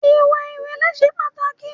Ìwà ìrẹ̀lẹ̀ ṣe pàtàkì.